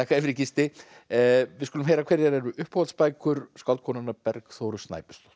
fyrir Gísli við skulum heyra hverjar eru skáldkonunnar Bergþóru Snæbjörnsdóttur